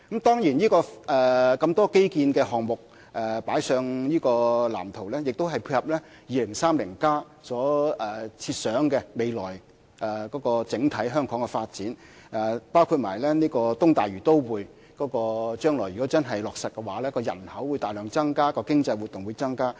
當然，有這麼多基建項目加入這個藍圖中，是配合《香港 2030+》所設想的未來香港整體發展，包括如果將來東大嶼都會的方案真的落實，該區人口會大量增加，經濟活動也會增加。